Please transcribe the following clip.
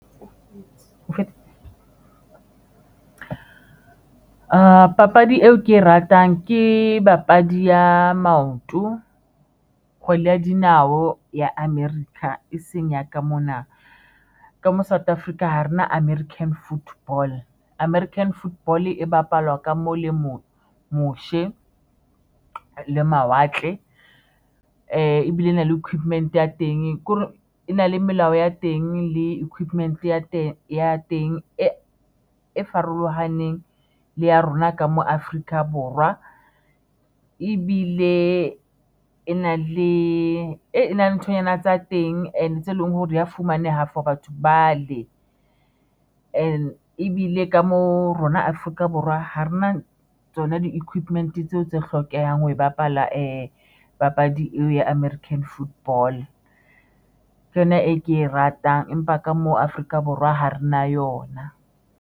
Papadi e ke ratang ke papadi ya maoto, kgwele ya dinao ya America e seng ya ka mona ka mo South Africa, hare na American Football, American Football e bapalwa ka mo le mose le mawatle ebile e na le equipment ya teng, ke hore e na le melao ya teng, le equipment ya teng ya teng e e farolohaneng le ya rona ka mo Afrika Borwa ebile e na le e na le nthonyana tsa teng and tse leng hore di ya fumaneha for batho bale ene ebile ka mo rona Afrika Borwa. Ha re na tsona di-equipment tseo tse hlokehang ho bapala papadi eo ya American Football ke yona e ke e ratang, empa ka mo Afrika Borwa ha re na yona.